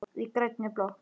Í grænni blokk